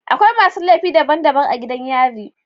Akwai masu laifi daban daban a gidan yari